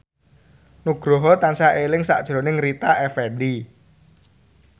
Nugroho tansah eling sakjroning Rita Effendy